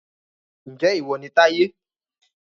Ǹjẹ́ ìwọ ni Táyé